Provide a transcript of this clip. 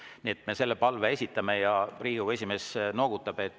Nii et selle palve me esitame ja Riigikogu esimees noogutab.